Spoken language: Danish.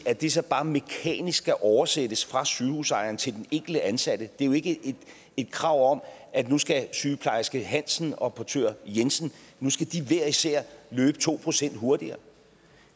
at det så bare mekanisk skal oversættes fra sygehusejeren til den enkelte ansatte det er jo ikke et krav om at nu skal sygeplejerske hansen og portør jensen hver især løbe to procent hurtigere